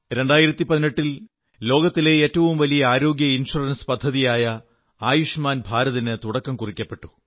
2018ൽ ലോകത്തിലെ ഏറ്റവും വലിയ ആരോഗ്യ ഇൻഷുറൻസ് പദ്ധതിയായ ആയുഷ്മാൻ ഭാരതിന് തുടക്കം കുറിച്ചു